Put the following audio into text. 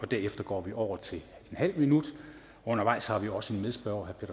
derefter går vi over til en halv minut undervejs har vi også en medspørger